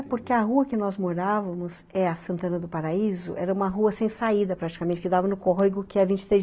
É, porque a rua que nós morávamos, é a Santana do Paraíso, era uma rua sem saída praticamente, que dava no córrego que é vinte três de